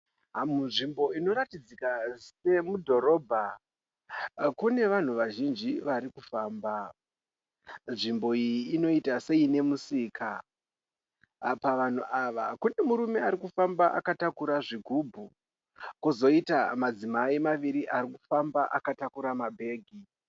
Munzvmbo inoratidzika semudhorobha. kune vanhu vazhinji varikufamba. Nzvimbo iyi inoita seine musika. Apa vanhu ava kune murume arikufamba akatakura zvigumbu kozoita madzimai vaviri vakatakura mabeki.